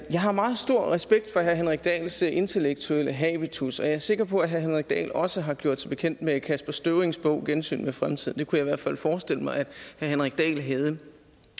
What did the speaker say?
jeg har meget stor respekt for herre henrik dahls intellektuelle habitus og jeg er sikker på at herre henrik dahl også har gjort sig bekendt med kasper støvrings bog gensyn med fremtiden det kunne jeg i hvert fald forestille mig at herre henrik dahl havde